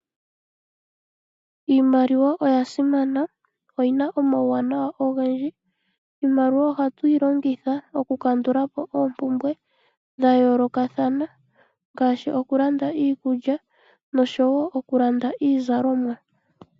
Iimaliwa oya simana. Oyina omawunawa ogendji. Iimaliwa ohatuyi longitha oku kandulapo oompumbwe dha yoolokathana ngaashi okulanda iikulya noshowo okulanda iizalomwa.